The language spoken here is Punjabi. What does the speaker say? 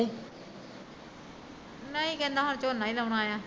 ਨਹੀਂ ਕਹਿੰਦਾ ਹੁਣ ਝੋਨਾ ਈ ਲਾਉਣਾ ਐ